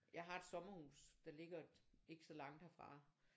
Jeg har et sommerhus der ligger ikke så langt herfra